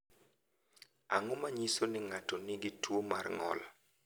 Ang’o ma nyiso ni ng’ato nigi tuwo mar ng’ol?